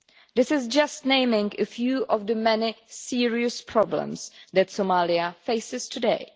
This is just naming a few of the many serious problems that Somalia faces today.